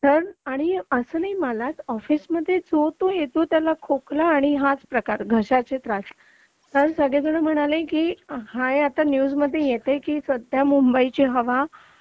पण असं नाही मलाच ऑफिसमध्ये पण जो तो येतो त्याला खोकला हाच प्रकार घशाचे त्रास कारण सगळेजण म्हणाले की हा आता हे न्यूज मध्ये येते की सध्या मुंबईची हवा